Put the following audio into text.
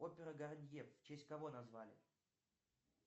опера гарнье в честь кого назвали